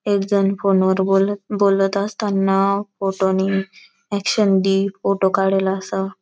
एक जना फोन वर बोलत असता ना फोटो नी एक्शन दी फोटो काड़ेला असा.